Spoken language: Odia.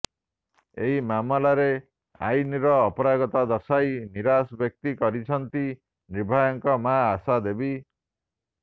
ଏହି ମାମଲାରେ ଆଇନ୍ର ଅପାରଗତା ଦର୍ଶାଇ ନିରାଶ ବ୍ୟକ୍ତ କରିଛନ୍ତି ନିର୍ଭୟାଙ୍କ ମାଆ ଆଶା ଦେବୀ